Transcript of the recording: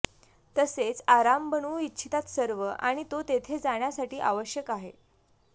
तसेच आराम बनवू इच्छितात सर्व आणि तो तेथे जाण्यासाठी आवश्यक आहे